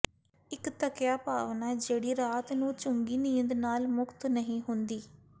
ਇੱਕ ਥੱਕਿਆ ਭਾਵਨਾ ਜਿਹੜੀ ਰਾਤ ਨੂੰ ਚੰਗੀ ਨੀਂਦ ਨਾਲ ਮੁਕਤ ਨਹੀਂ ਹੁੰਦੀ